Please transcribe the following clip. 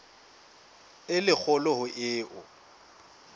e le kgolo ho eo